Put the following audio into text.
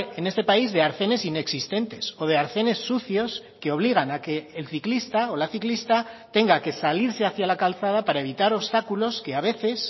en este país de arcenes inexistentes o de arcenes sucios que obligan a que el ciclista o la ciclista tenga que salirse hacia la calzada para evitar obstáculos que a veces